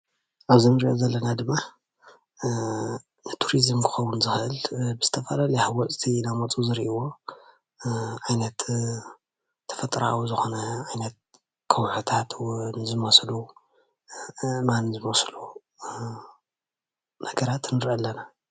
ኣብዚ እንሪኦ ዘለና ድማ ንቱሪዙም ክኸውን ዝክእል ብዝተፈላለዩ ሃወፅቲ እንዳመፅኡ ዝሪእይዎ ዓይነት ተፈጥራዊ ዝኮነ ዓይነት ኸውሒታት እውን ዝመስሉ ፣ኣእማን ዝመስሉ ነገራት ንርእይ ኣለና።